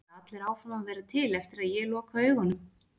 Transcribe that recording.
Halda allir áfram að vera til eftir að ég loka augunum?